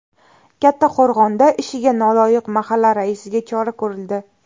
Kattaqo‘rg‘onda ishiga noloyiq mahalla raisiga chora ko‘rildi.